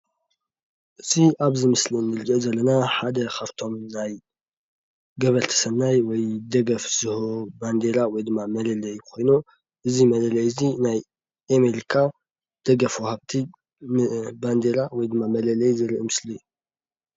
እዚ አብዚ ምስሊ እንሪኦ ዘለና ሓደ ካብቶም ናይ ገበርቲ ሰናይ ወይ ደገፍ ዝህቡ ባንዴራ ወይ ድማ መለለይ ኮይኑ እዚ መለለይ እዚ አሜሪካ ደገፍ ወሃብቲ ባንዴራ ወይ መለለዪ ዘርኢ ምስሊ እዩ፡፡